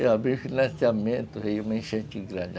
Eu abri o financiamento e veio uma enchente grande.